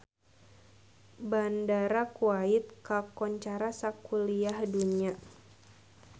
Bandara Kuwait kakoncara sakuliah dunya